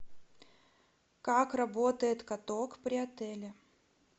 как работает каток при отеле